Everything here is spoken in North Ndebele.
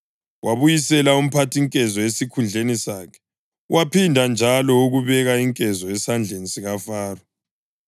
Wabuyisela umphathinkezo esikhundleni sakhe, waphinda njalo ukubeka inkezo esandleni sikaFaro,